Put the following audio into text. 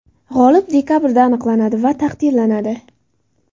G‘olib dekabrda aniqlanadi va taqdirlanadi.